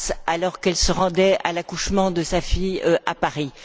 alors qu'elle se rendait à l'accouchement de sa fille à Paris.